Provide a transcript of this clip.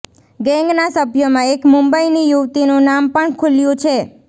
ગેંગના સભ્યોમાં એક મુંબઇની યુવતીનું નામ પણ ખુલ્યુ છે